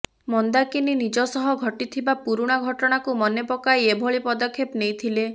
ମନ୍ଦାକିନୀ ନିଜ ସହ ଘଟିଥିବା ପୁରୁଣା ଘଟଣାକୁ ମନେ ପକାଇ ଏଭଳି ପଦକ୍ଷେପ ନେଇଥିଲେ